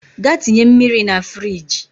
Gaa tinye mmiri na firigi